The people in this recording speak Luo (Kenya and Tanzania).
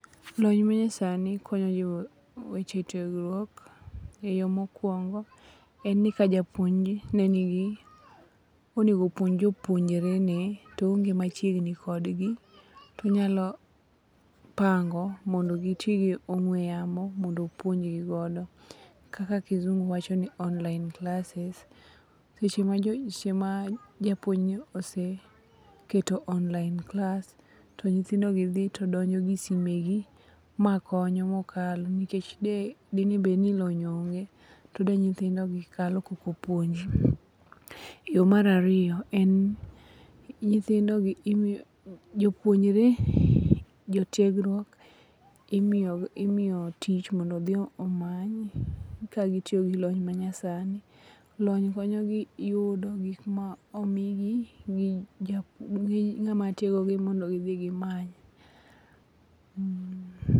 Lony manyasani konyo weche tiegruok e yo mokwongo en ni ka japuonj nonego puonj jopuonjrene toonge machiegni klodgi tonyalo pango mondo giti gi ong'we yamo mondo opuonjigodo kaka kizungu wachoni online classes. Seche ma japuonjni oseketo online class to nyithindogi dhi to donjo gisime gi makonyo mokalo nikech dinebed ni lony onge to de nyithindogi kalo kok opuonji. Yo mar ariyo en ni jotiegruok imiyo tich mondo odhi omany ka gitioyo gi lony manyasani. Lony konyogi yudo gik ma omigi gi ng'ama tiegogi mondo gidhi gimany.